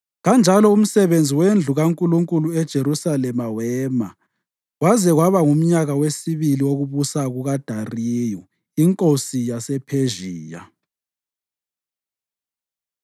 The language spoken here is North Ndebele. Kanjalo umsebenzi wendlu kaNkulunkulu eJerusalema wema kwaze kwaba ngumnyaka wesibili wokubusa kukaDariyu inkosi yasePhezhiya.